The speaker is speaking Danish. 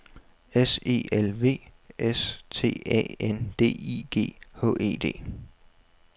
S E L V S T Æ N D I G H E D